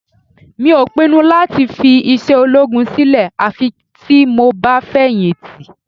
Mi ò pinnu láti fi iṣẹ́ ológun sílẹ̀ àfi tí mo bá fẹ̀yìntì